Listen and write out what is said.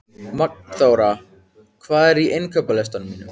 Magnþóra, hvað er á innkaupalistanum mínum?